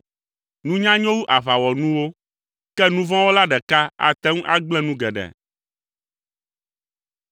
Nunya nyo wu aʋawɔnuwo, ke nu vɔ̃ wɔla ɖeka ate ŋu agblẽ nu geɖe.